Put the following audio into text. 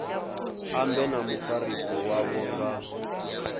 ambe na mufarisi wavho nga